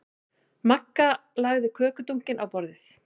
Magga lagði kökudunkinn á borðið.